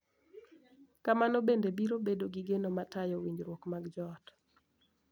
Kamano bende biro bedo gi geno ma tayo winjruok mag joot, .